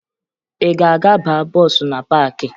Ị ga-aga baa bọọsụ na paakị?